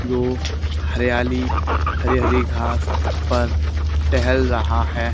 धूप हरियाली हरी हरी घास पर टहल रहा हैं।